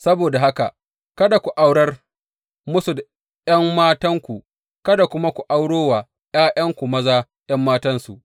Saboda haka kada ku aurar musu da ’yan matanku, kada kuma ku auro wa ’ya’yanku maza ’yan matansu.